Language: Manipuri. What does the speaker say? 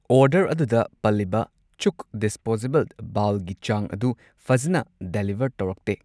ꯑꯣꯔꯗꯔ ꯑꯗꯨꯗ ꯄꯜꯂꯤꯕ ꯆꯨꯛ ꯗꯤꯁꯄꯣꯖꯦꯕꯜ ꯕꯥꯎꯜꯒꯤ ꯆꯥꯡ ꯑꯗꯨ ꯐꯖꯟꯅ ꯗꯦꯂꯤꯚꯔ ꯇꯧꯔꯛꯇꯦ꯫